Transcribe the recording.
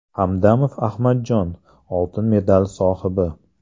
Hamdamov Ahmadjon- oltin medal sohibi.